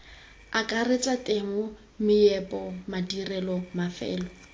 akaretsa temo meepo madirelo mafelo